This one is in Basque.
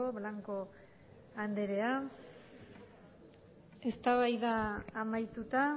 blanco anderea eztabaida amaituta